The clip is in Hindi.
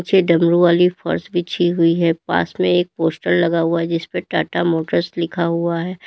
पीछे डमरू वाली फर्श बिछी हुई है पास में एक पोस्टर लगा हुआ है जिसपे टाटा मोटर्स लिखा हुआ है।